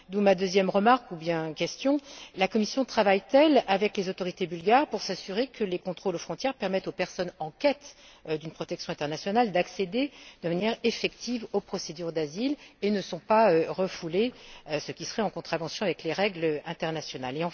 D'où ma deuxième remarque sous forme de question la Commission travaille t elle avec les autorités bulgares pour s'assurer que les contrôles aux frontières permettent aux personnes en quête d'une protection internationale d'accéder de manière effective aux procédures d'asile et ne sont pas refoulées, ce qui serait contraire aux règles internationales?